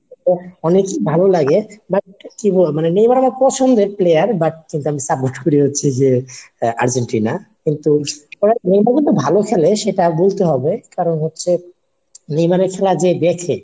অনেকই ভালো লাগে, but কি বলবো? মানে নেইমার আমার পছন্দের player but কিন্তু আমি support করি হচ্ছে যে আর্জেন্টিনা। কিন্তু নেইমার কিন্তু ভালো খেলে সেটা বলতে হবে। কারণ হচ্ছে নেইমারের খেলা যে দেখছে.